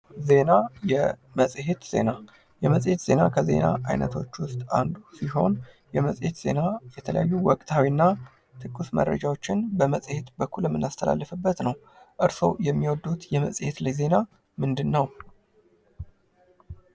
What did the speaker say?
ዜና የመጽሄት ዜና ከዜና አይነቶች ውስጥ አንዱ ሲሆን የመጽሄት ዜና የተለያዩ ወቅታዊና ትኩስ መረጃዎችን በመጽሄት በኩል የምናስተላልፍበት ነው። እርስዎ የሚወዱት የመጽሄት ላይ ዜና ምንድነው?